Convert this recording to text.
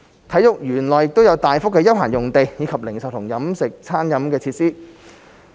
體育園內亦有大幅的休憩用地，以及零售和餐飲設施。